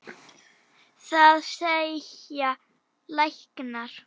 Það segja læknar.